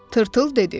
Tırtıl dedi.